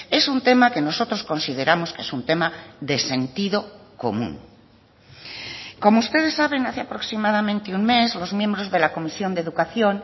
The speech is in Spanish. es un tema que nosotros consideramos que es un tema de sentido común como ustedes saben hace aproximadamente un mes los miembros de la comisión de educación